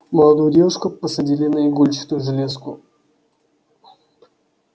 молодую девушку посадили на игольчатую железку